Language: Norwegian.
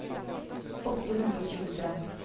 åtte hundre og tjuetre